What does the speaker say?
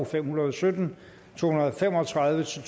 fem hundrede og sytten og to hundrede og fem og tredive til